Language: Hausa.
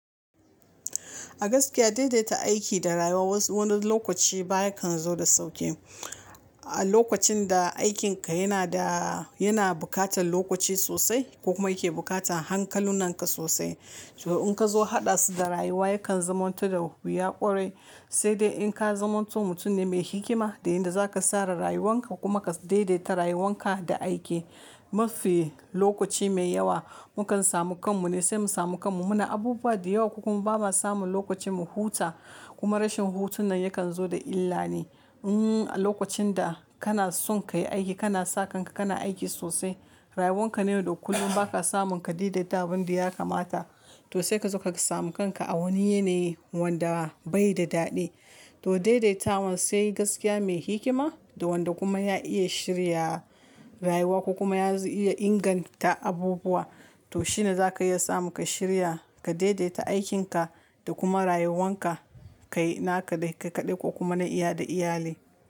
A gaskiya daidaita aiki da rayuwa wani lokaci baya kan zo da sauƙi. A lokacin da aikinka yana buƙatar lokaci sosai kuma yake buƙatar hankalunanka sosai. To in ka zo haɗa su da rayuwa yakan zamanto da wuya ƙwarai. Sai dai in ka zamanto mutum ne mai hikima da inda zaka tsara rayuwanka kuma ka daidaita rayuwanka da aiki. Mafi lokaci mai yawa mukan samu kanmu ne sai mu samu kanmu. Muna abubuwa da yawa ko kuma bama samu lokacin mu huta. Kuma rashin hutun nan yakan zo da illane. A lokacin da kana son ka yi aiki, kana sakan ka, kana aiki sosai, rayuwanka ne duk kullum ba ka samun ka daidaita abin da ya kamata. To sai ka zo ka samu kanka a wani yanayi wanda bai da daɗi. To daidaita wan sai gaskiya mai hikima da wanda kuma ya iya shirya rayuwa kuma ya iya inganta abubuwa. To shine za ka iya samu ka shirya, ka daidaita aikinka da kuma rayuwanka. Kai na kaɗai ka kaɗai ko kuma na iya da iyali.